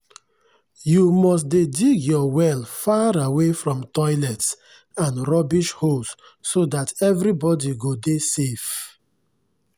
you must dey dig your well far away from toilets and rubbish holes so dat everybody go dey safe.